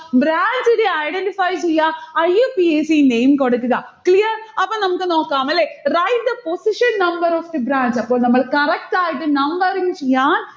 branch നെ identify ചെയ്യാ. IUPAC name കൊടുക്കുക. clear? അപ്പൊ നമ്മുക്ക് നോക്കാം, അല്ലെ? write the position number of the branch അപ്പോൾ നമ്മൾ correct ആയിട്ട് numbering ചെയ്യാൻ